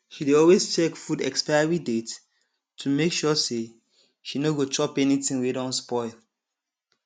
she dey always check food expiry date to make sure say she no go chop anything wey don spoil